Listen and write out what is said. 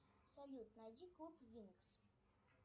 салют найди клуб винкс